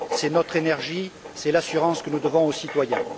C'est notre énergie, c'est l'assurance que nous devons aux citoyens.